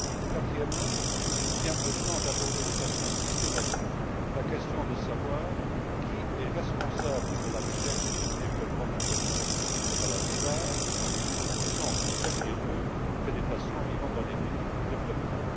Quatrièmement, il devient urgent d'aborder de façon systématique la question de savoir qui est responsable de la recherche et du développement en matière de traitement des maladies rares ou qui ne touchent en premier lieu que des patients vivant dans les pays en développement.